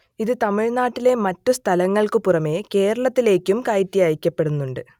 ഇത് തമിഴ്നാട്ടിലെ മറ്റു സ്ഥലങ്ങൾക്കു പുറമേ കേരളത്തിലേക്കും കയറ്റി അയക്കപ്പെടുന്നുണ്ട്